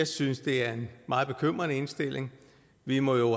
synes at det er en meget bekymrende indstilling vi må jo